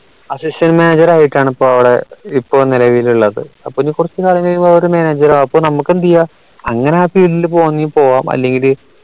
assistant manager ആയിട്ടാണ് ഇപ്പോ അവിടെ ഇപ്പോ നിലവിലുള്ളത് അപ്പോ ഇനി കുറച്ചു കാലം കഴിയുമ്പോ അവര് manager ആക്കും നമുക്ക് എന്തെയ്യ അങ്ങനെ ആ field ൽ പോവണേൽ പോവ്വാ അല്ലെങ്കില്